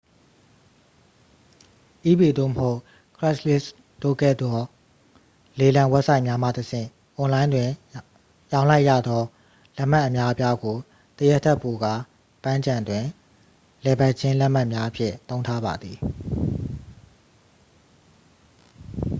ebay သို့မဟုတ် craigslist တို့ကဲ့သို့သော လေလံဝဘ်ဆိုက်များမှ တစ်ဆင့် အွန်လိုင်းတွင် ရောင်းလိုက်ရသော လက်မှတ်အများအပြားကို တစ်ရက်ထက်ပိုကာ ပန်းခြံတွင်လည်ပတ်ခြင်း လက်မှတ်များအဖြစ် သုံးထားပါသည်